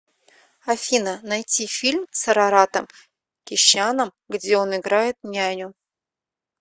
афина найти фильм с араратом кещяном где он играет няню